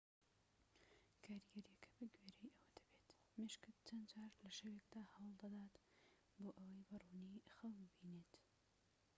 کاریگەریەکە بە گوێرەی ئەوە دەبێت مێشکت چەند جار لە شەوێکدا هەوڵ دەدات بۆ ئەوەی بە ڕوونی خەو ببینێت